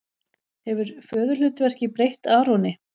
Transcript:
Hefur föðurhlutverkið breytt Aroni?